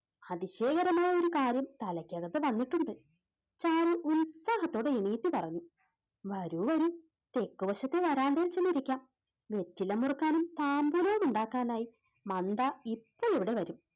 അതിശയകരമായ ഒരു കാര്യം തലയ്ക്കകത്ത് വന്നിട്ടുണ്ട് ചാരു ഉത്സാഹത്തോടെ എണീറ്റ് പറഞ്ഞു വരൂ വരൂ തെക്കുവശത്തെ വരാന്തയിൽ ചെന്നിരിക്കാം വെറ്റില മുറുക്കാനും പാമ്പിനോട് ഉണ്ടാക്കാൻ ആയി മന്ദ ഇപ്പോൾ ഇവിടെ വരും.